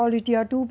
Olhe de adubo